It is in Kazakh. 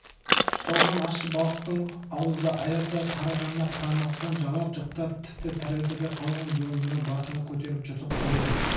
тұздалған ащы балықтың ауызды аяздай қарығанына қарамастан жалап-жұқтап тіпті тәрелкеде қалған жұғындыны басына көтере жұтып қойды